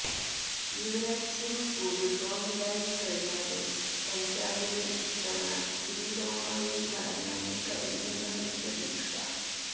യുവരാജ് സിങ് കൂടി ഫോമിലായിക്കഴിഞ്ഞാല് പഞ്ചാബിന് ഇത്തവണ കിരീടവുമായി മടങ്ങാന് കഴിയുമെന്നാണ് പ്രതീക്ഷ